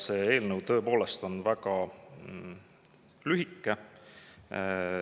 See eelnõu on tõepoolest väga lühike.